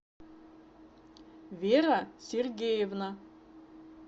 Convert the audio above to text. вера сергеевна